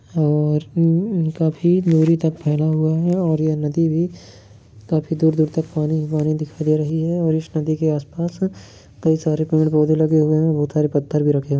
और ऊम काफी दुरी तक फैला हुआ है और यह नदी भी काफी दूर तक पानी-पानी दिख रही है और इस नदी के आसपास कई सारे पेड़-पौधे लगे हुए हैं बहुत सारे पत्थर भी रखें --